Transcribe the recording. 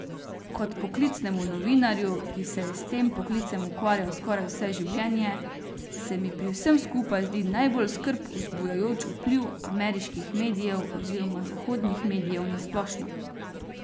Kot poklicnemu novinarju, ki se je s tem poklicem ukvarjal skoraj vse življenje, se mi pri vsem skupaj zdi najbolj skrb vzbujajoč vpliv ameriških medijev oziroma zahodnih medijev na splošno.